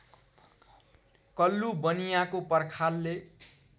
कल्लु बनियाँको पर्खालले